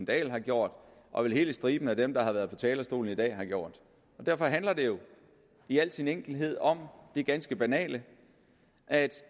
dahl har gjort og vel hele striben af dem der har været på talerstolen i dag har gjort derfor handler det jo i al sin enkelhed om det ganske banale at